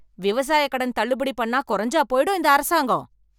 விவசாயக் கடன் தள்ளுபடி பண்ணா கொறைஞ்சா போயிடும் இந்த அரசாங்கம்.